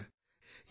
ഇവിടെ ശ്രീ